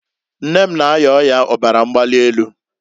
Nne m na- aya ọya ọbara mgbalị enu.